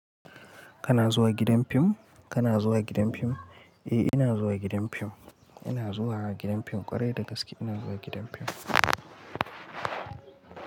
Kana zuwa gidan fim? Kana zuwa gidan fim? Eh ina zuwa gidan fim. Ina zuwa gidan fim ƙwarai da gaske ina zuwa gidan fim.